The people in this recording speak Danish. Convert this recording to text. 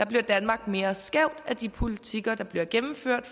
bliver danmark mere skævt af de politikker der bliver gennemført